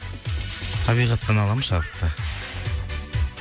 табиғаттан аламын шабытты